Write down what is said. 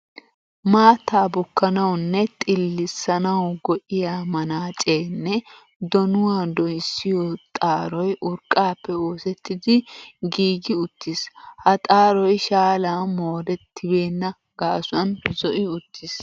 Maattaa bukkanawu nne xillissanawu go''iya manaacee nne donuwa dooyissiyo xaaroy urqqaappe oosettidi giigi uttiis. Ha xaaroy shaalan moorettibenna gaasuwan zo'i uttiis.